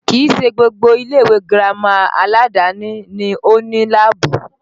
Kìí ṣe gbogbo ilé ìwé girama aládàáni ni ó ní láàbù